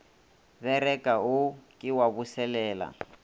bereka wo ke wa boselela